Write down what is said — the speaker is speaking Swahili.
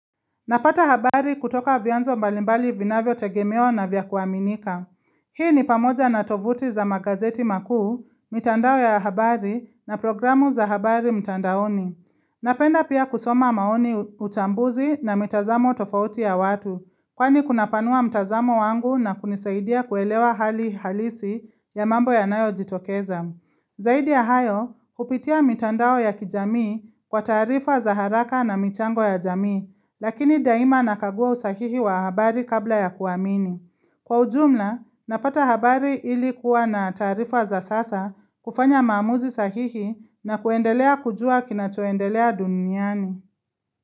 Napata habari kutoka vyanzo mbalimbali vinavyotegemewa na vya kuaminika. Hii ni pamoja na tovuti za magazeti makuu, mitandao ya habari na programu za habari mtandaoni. Napenda pia kusoma maoni, uchambuzi na mitazamo tofauti ya watu. Kwani kunapanua mtazamo wangu na kunisaidia kuelewa hali halisi ya mambo yanayojitokeza. Zaidi ya hayo, kupitia mitandao ya kijamii kwa taarifa wa za haraka na michango ya jamii. Lakini daima nakagua usahihi wa habari kabla ya kuamini. Kwa ujumla, napata habari ili kuwa na taarifa za sasa, kufanya maamuzi sahihi na kuendelea kujua kinachoendelea duniani.